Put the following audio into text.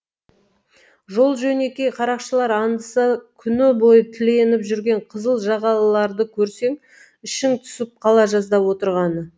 жол жөнекей қарақшылар аңдыса күні бойы тіленіп жүрген қызыл жағалыларды көрсең ішің түсіп қала жаздап отырғаны